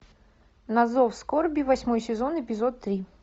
на зов скорби восьмой сезон эпизод три